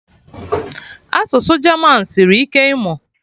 Asụsụ German sịrị ike ịmụ